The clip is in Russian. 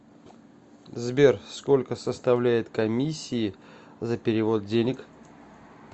сбер сколько составляет комиссии за перевод денег